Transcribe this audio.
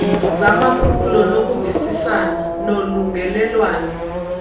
zamaphulo nokuvisisana nolungelelwano